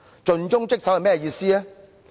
盡忠職守是甚麼意思？